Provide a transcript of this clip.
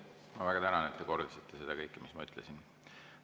Ma väga tänan, et te kordasite seda kõike, mis ma ütlesin.